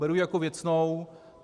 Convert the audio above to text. Beru ji jako věcnou.